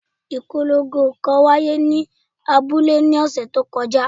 Ipolongo kan wa ye ni abule ni ọsẹ to koja